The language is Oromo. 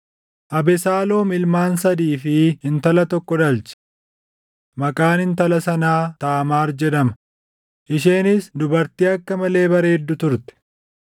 Abesaaloom ilmaan sadii fi intala tokko dhalche. Maqaan intala sanaa Taamaar jedhama; isheenis dubartii akka malee bareeddu turte.